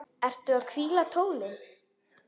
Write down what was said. Ertu að hvíla tólin?